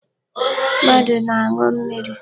Mmadụ na-aṅụ mmiri.